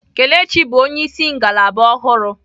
Kelechi bụ onyeisi ngalaba ọhụrụ.